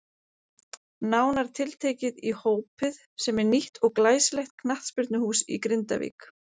Nánar tiltekið í Hópið sem er nýtt og glæsilegt knattspyrnuhús í Grindavík.